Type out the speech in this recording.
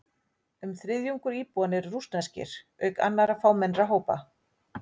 Um þriðjungur íbúanna eru rússneskir, auk annarra fámennari hópa.